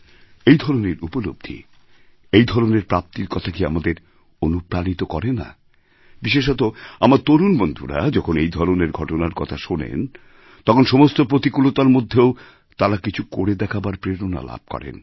এই ধরনের উপলব্ধি এই ধরনের প্রাপ্তির কথা কি আমাদের অনুপ্রাণিত করে না বিশেষত আমার তরুণ বন্ধুরা যখন এই ধরনের ঘটনার কথা শোনেন তখন সমস্ত প্রতিকূলতার মধ্যেও তাঁরা কিছু করে দেখাবার প্রেরণা লাভ করেন